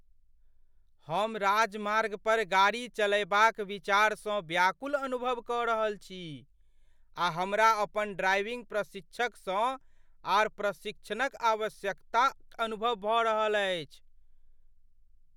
हम राजमार्ग पर गाड़ी चलयबाक विचारसँ व्याकुल अनुभव कऽ रहल छी, आ हमरा अपन ड्राइविंग प्रशिक्षकसँ आर प्रशिक्षणक आवश्यकता अनुभव भऽ रहल अछि।